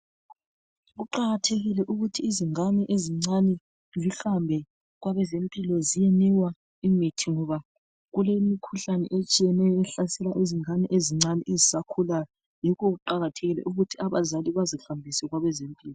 Kuqakathekile ukuthi izingane ezincane zihambe kwabezempilo. Ziyenikwa imithi, ngoba kulemikhuhlane etshiyeneyo, ehlasela izingane ezincane, ezisakhulayo. Yikho kuqakathekile ukuthi abazali bazihambise kwabezempilo.